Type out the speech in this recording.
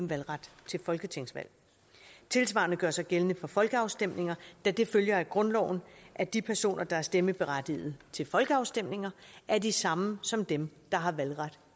valgret til folketingsvalg det tilsvarende gør sig gældende for folkeafstemninger da det følger af grundloven at de personer der er stemmeberettigede til folkeafstemninger er de samme som dem der har valgret